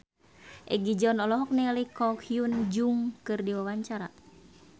Egi John olohok ningali Ko Hyun Jung keur diwawancara